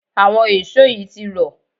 àwọn èṣó yìí ti rọ̀